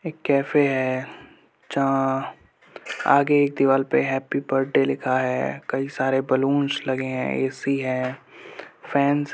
एक कैफे है जहां आगे एक दीवाल पर हैप्पी बड्डे लिखा है कई सारे बलूनस लगे है ए.सी. है। फैन्स --